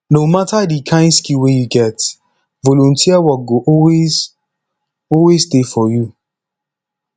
no mata di kain skill wey yu get volunteer wok go always always dey for yu